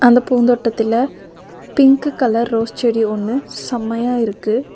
அந்த பூந்தோட்டதுல pink colour rose செடி ஒன்னு செமையா இருக்கு.